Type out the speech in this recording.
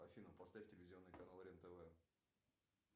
афина поставь телевизионный канал рен тв